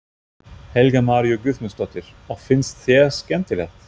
Helga María Guðmundsdóttir: Og finnst þér skemmtilegt?